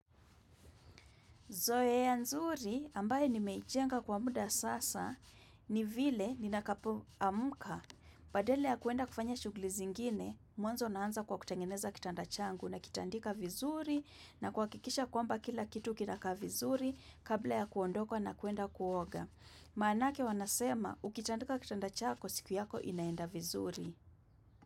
Zoea nzuri, ambaye nimeijenga kwa muda sasa, ni vile ninakapoamka. Badala ya kuenda kufanya shughuli zingine, mwanzo naanza kwa kutengeneza kitanda changu nakitandika vizuri na kuhakikisha kwamba kila kitu kinakaa vizuri kabla ya kuondoka na kuenda kuoga. Maanake wanasema, ukitandika kitanda chako, siku yako inaenda vizuri.